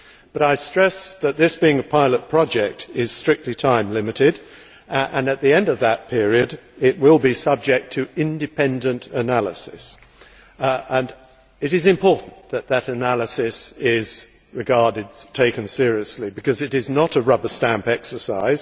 But I stress that, this being a pilot project, it is strictly time limited and at the end of that period it will be subject to independent analysis. It is important for that analysis to be taken seriously because it is not a rubber stamp exercise.